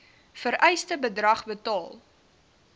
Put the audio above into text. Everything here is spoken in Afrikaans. vereiste bedrag betaal